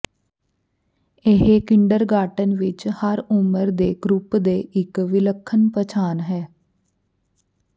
ਇਹ ਕਿੰਡਰਗਾਰਟਨ ਵਿੱਚ ਹਰ ਉਮਰ ਦੇ ਗਰੁੱਪ ਦੇ ਇੱਕ ਵਿਲੱਖਣ ਪਛਾਣ ਹੈ